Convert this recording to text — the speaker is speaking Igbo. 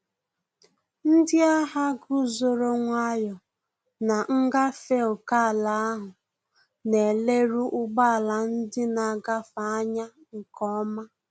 Ndị agha guzoro nwayọ na ngafe ókèala ahụ, na ele ru ụgbọ ala ndị na-agafe anya nke ọma